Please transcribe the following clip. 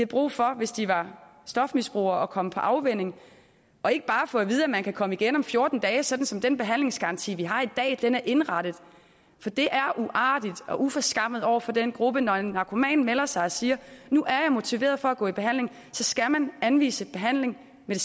brug for hvis de var stofmisbrugere at komme på afvænning og ikke bare få at vide at man kan komme igen om fjorten dage sådan som den behandlingsgaranti vi har i dag er indrettet for det er uartigt og uforskammet over for den gruppe når en narkoman melder sig og siger nu er jeg motiveret for at gå i behandling så skal man anvise behandling med